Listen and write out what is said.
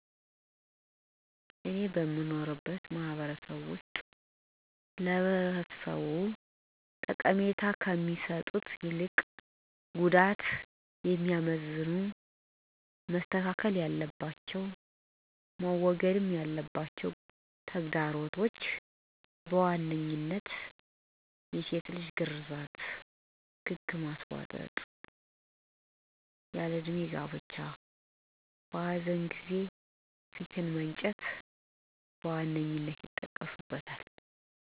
እኔ በምኖርበት ማህበረሰብ ውስጥ ለህብረተሰቡ ጉዳት እንጅ የሚሰጡት ጠቀሜታ ስለሌላቸው መስተካከል ብሎም መወገድ ያለባቸው ተግዳሮቶች፣ የሴት ልጅ ግርዛት፣ ግግ ማስቧጠጥ፣ የሴት ልጅ ያለ እድሜ ጋብቻ፣ በኃዘን ጊዜ ፊት መንጨት፣ በሰው ግድያ የደም መመላለስ፣ ወ.ዘ.ተ... ናቸው። ስለዚህ እነዚህን ጎጅ ልማዶችና ተግዳሮቶች መወገድ እና መጥፋት ይኖርባቸዋል፤ እነዚህን ጎጅ ተግዳሮቶች እንዲወገዱ ካስፈለገ ለማህበረሰቡ ስለጎጅነታቸውና ለተተኪው ትውልድ ጉዳት እንጅ ጠቀሜታ ስለማይኖራቸው በቂ ተከታታይ ትምህርት እና ስልጠና መስጠት ያስፈልጋል።